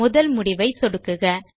முதல் முடிவை சொடுக்குக